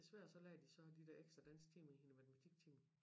Desværre så lagde de så de der ekstra dansktimer i hende matematiktimer